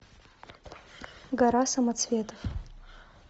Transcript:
гора самоцветов